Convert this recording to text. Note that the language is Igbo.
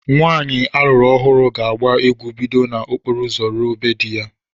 Nwanyị a lụrụ ọhụụ ga agba egwu bido na okporo ụzọ ruo be dị ya